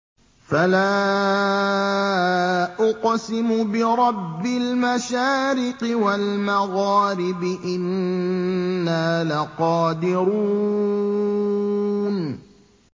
فَلَا أُقْسِمُ بِرَبِّ الْمَشَارِقِ وَالْمَغَارِبِ إِنَّا لَقَادِرُونَ